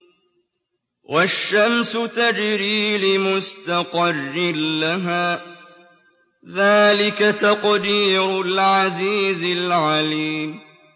وَالشَّمْسُ تَجْرِي لِمُسْتَقَرٍّ لَّهَا ۚ ذَٰلِكَ تَقْدِيرُ الْعَزِيزِ الْعَلِيمِ